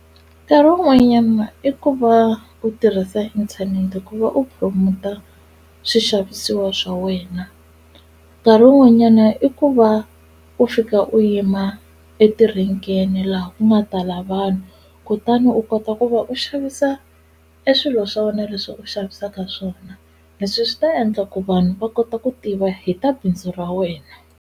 Nkarhi wun'wanyana i ku va u tirhisa inthanete ku va u promote-a swixavisiwa swa wena nkarhi wun'wanyana i ku va u fika u yima e tirenkeni laha ku nga tala vanhu kutani u kota ku va u xavisa e swilo swa wena leswi u xavisaka swona leswi swi ta endla ku vanhu va kota ku tiva hi ta bindzu ra wena.